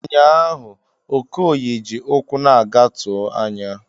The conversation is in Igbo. Ụnyahụ Okoye ji ụkwụ na-aga tụọ anya.